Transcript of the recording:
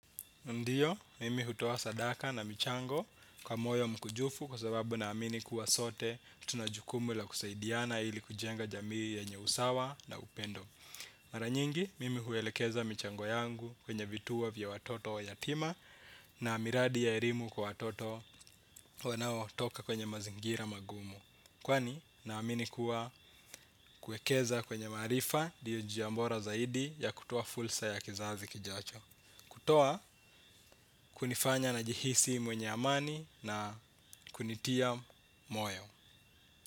Ndiyo, mimi hutoa sadaka na michango kwa moyo mkunjufu kwa sababu naamini kuwa sote tuna jukumu la kusaidiana ili kujenga jamii ya nye usawa na upendo. Mara nyingi, mimi huelekeza michango yangu kwenye vituo vya watoto yatima na miradi ya elimu kwa watoto wanaotoka kwenye mazingira magumu. Kwani, naamini kuwa kuwekeza kwenye maarifa ndiyo njia bora zaidi ya kutoa fursa ya kizazi kijacho. Kutoa kunifanya najihisi mwenye amani na kunitia moyo.